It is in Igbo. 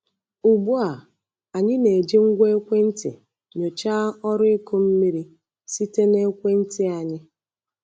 Ugbu a, anyị na-eji ngwa ekwentị nyochaa ọrụ ịkụ mmiri site na ekwentị anyị.